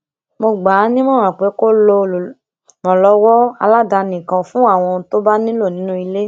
mo gbà á nímòràn pé kí ó lo olùrànlówó aládani kan fún àwọn ohun tó bá nílò nínú ilé